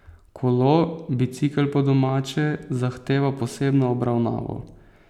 Kolo, bicikel po domače, zahteva posebno obravnavo.